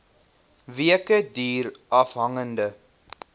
weke duur afhangende